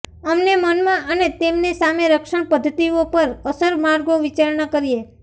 અમને મનમાં અને તેમને સામે રક્ષણ પદ્ધતિઓ પર અસર માર્ગો વિચારણા કરીએ